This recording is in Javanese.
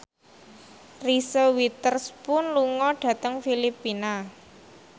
Reese Witherspoon lunga dhateng Filipina